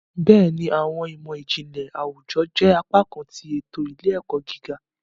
Béèni, awọn imọ-jinlẹ àwùjọ jẹ apá kan ti eto ile-ẹkọ gíga